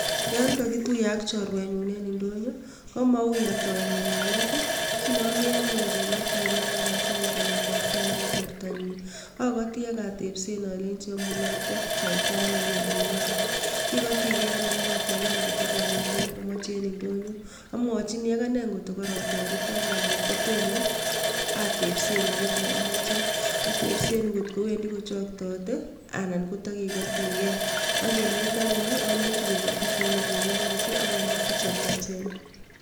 Yon kakituyen ak chorwenyun eng indonyo komaui atoi ngalalet kinomii anyun kekotigei akakasen chamet abgei nebo bortonyin akoti akatepsen alenjini yomunee akotestoitoi ano eng olingwai kikotigei anyun akateben kokokakonyor kiit nemochei eng ndonyo amwochinii agane atkokanyayoru atoretoke ananan Kotomo atepsen kit namoche atepsen ngotkowendi kochoktotei anan kotikekotigei ak eng let alenjini kokatis eng olengwanget akamokchin chemiachen